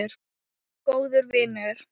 Og góður vinur.